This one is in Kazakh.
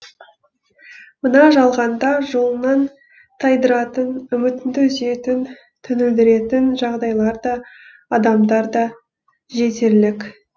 мына жалғанда жолыңнан тайдыратын үмітіңді үзетін түңілдіретін жағдайлар да адамдар да жетерлік